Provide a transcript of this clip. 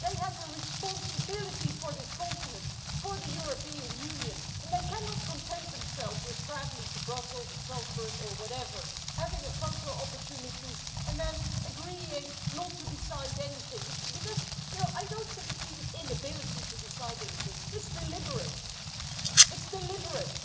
they have a responsibility for this continent, for the European Union, and they cannot content themselves with travelling to Brussels or Salzburg or whatever, having a photo opportunity and then agreeing not to decide anything, because I don't think it's even an inability to decide anything it's deliberate.